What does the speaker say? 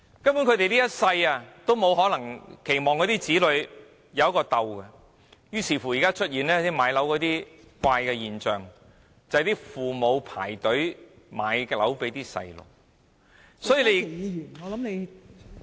他們期望子女能擁有一個安樂窩，於是現時出現了一個買樓的怪現象，就是父母排隊為子女買樓。